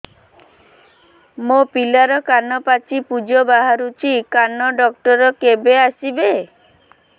ମୋ ପିଲାର କାନ ପାଚି ପୂଜ ବାହାରୁଚି କାନ ଡକ୍ଟର କେବେ ଆସିବେ